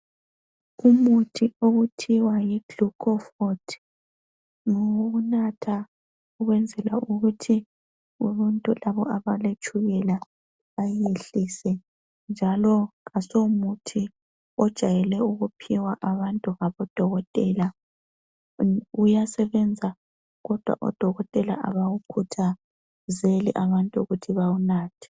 Umuthi okuthiwa yi glucofort ngowokunatha ukwenzela ukuthi abantu labo abaletshukela bayehlise njalo asomuthi ojayele ukuphiwa abantu ngabodokotela. Uyasebenza kodwa odokotela abawukhuthazeli abantu ukuthi bawunathe.